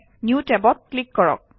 new টেবত click কৰক